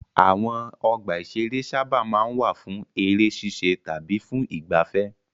Àwọn ọgbà-ìṣeré sábà máa ń wà fún eré ṣíṣe tàbí fún ìgbaafẹ́.